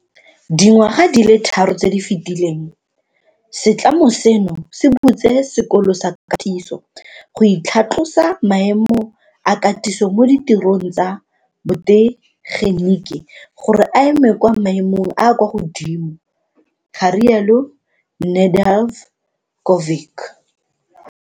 Dingwaga di le tharo tse di fetileng, setlamo seno se butse sekolo sa katiso go tlhatlosa maemo a katiso mo ditirong tsa botegeniki gore a eme kwa maemong a a kwa godimo, ga rialo Nedeljkovic.